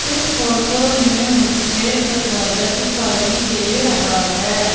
इस फोटो में मुझे दरवाजा दिखाई दे रहा है।